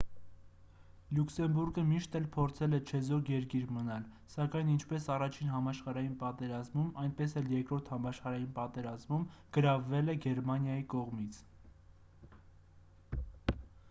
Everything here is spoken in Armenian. լյուքսեմբուրգը միշտ էլ փորձել է չեզոք երկիր մնալ սակայն ինչպես i-ին համաշխարհային պատերազմում այնպես էլ ii-րդ համաշխարհային պատերազմում գրավվել է գերմանիայի կողմից: